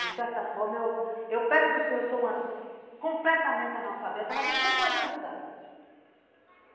De certa forma, eu eu perto do senhor sou completamente analfabeta, mas o senhor pode me ajudar.